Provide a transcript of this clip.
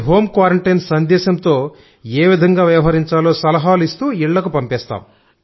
home quarantine సందేశంతో ఏ విధంగా వ్యవహరించాలో సలహాలు ఇస్తూ ఇళ్లకు పంపిస్తాం